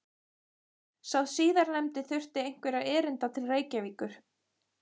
Sá síðarnefndi þurfti einhverra erinda til Reykjavíkur.